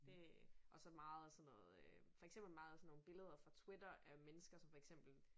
Det og så meget sådan noget øh for eksempel meget af sådan nogle billeder fra twitter af mennesker som for eksempel